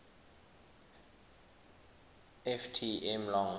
ft m long